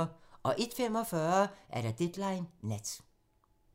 01:45: Deadline nat